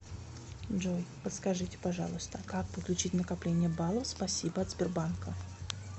джой подскажите пожалуйста как подключить накопление баллов спасибо от сбербанка